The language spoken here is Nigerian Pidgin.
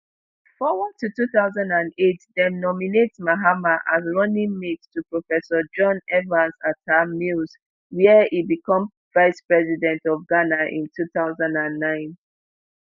forward to two thousand and eight dem nominate mahama as running mate to professor john evans atta mills wia e become vice president of ghana in two thousand and nine